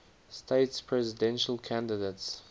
states presidential candidates